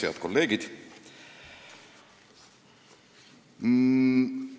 Head kolleegid!